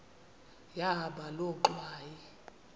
yahamba loo ngxwayi